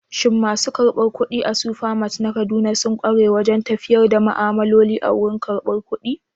Shin masu karbar kuɗi a Supermart na Kaduna sun ƙware wajen tafiyar da ma'amaloli a wurin karbar kuɗi?